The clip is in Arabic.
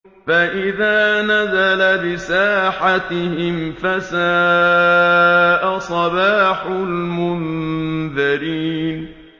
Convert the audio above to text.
فَإِذَا نَزَلَ بِسَاحَتِهِمْ فَسَاءَ صَبَاحُ الْمُنذَرِينَ